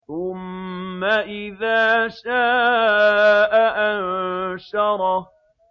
ثُمَّ إِذَا شَاءَ أَنشَرَهُ